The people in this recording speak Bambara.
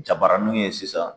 Jabaraninw ye sisan